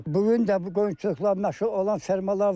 Bu gün də bu qoyunçuluqla məşğul olan fermalar var.